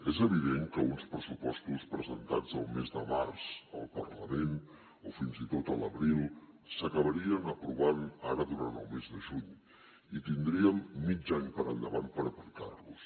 és evident que uns pressupostos presentats el mes de març al parlament o fins i tot a l’abril s’acabarien aprovant ara durant el mes de juny i tindríem mig any per endavant per aplicar los